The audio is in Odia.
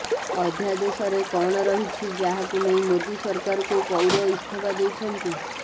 ଅଧ୍ୟାଦେଶରେ କଣ ରହିଛି ଯାହାକୁ ନେଇ ମୋଦୀ ସରକାରକୁ କୌର ଇସ୍ତଫା ଦେଇଛନ୍ତି